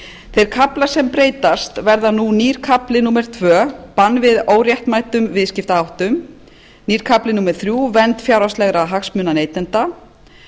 þeir kaflar sem breytast verða nú nýr kafli númer tvö bann við óréttmætum viðskiptaháttum nýr kafli númer þrjú vernda fjárhagslegra hagsmuna neytenda